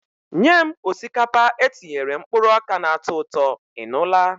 Nye m osikapa etinyere mkpụrụ oka na-atọ ụtọ, ị nụla?